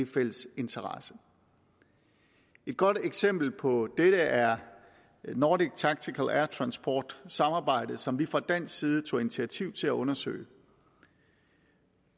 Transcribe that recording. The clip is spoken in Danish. fælles interesse et godt eksempel på dette er nordic tactical air transport samarbejdet som vi fra dansk side tog initiativ til at undersøge